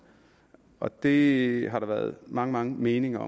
og det har der været mange mange meninger